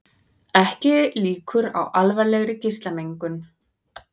Ekki líkur á alvarlegri geislamengun